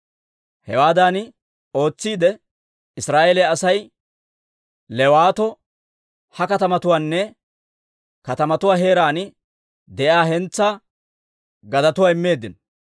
Hewaadan ootsiide, Israa'eeliyaa Asay Leewatoo ha katamatuwaanne katamatuwaa heeraan de'iyaa hentsaa gadetuwaa immeedda.